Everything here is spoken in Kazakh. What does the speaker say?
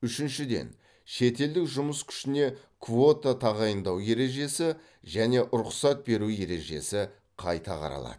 үшіншіден шетелдік жұмыс күшіне квота тағайындау ережесі және рұқсат беру ережесі қайта қаралады